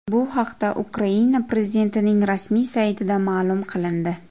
Bu haqda Ukraina prezidentining rasmiy saytida ma’lum qilindi .